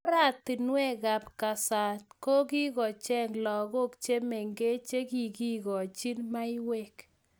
Oratinwekab nganaset kikochang lagok che mengech chekikikochin maiywek